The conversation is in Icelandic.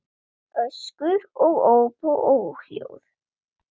Öskur og óp og óhljóð.